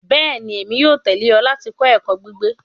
Bẹẹni, Emi yoo tẹle ọ lati kọ ẹkọ gbigbe